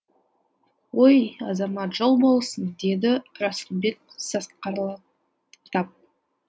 ой азамат жол болсын деді расылбек сасқалақтап